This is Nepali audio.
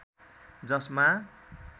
जसमा